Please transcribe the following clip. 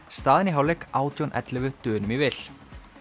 staðan í hálfleik átján til ellefu Dönum í vil